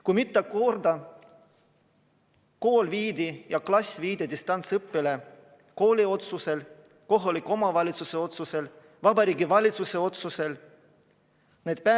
Kui mitu korda kool või klass viidi distantsõppele kooli otsusel, kui mitu korda kohaliku omavalitsuse või Vabariigi Valitsuse otsusel?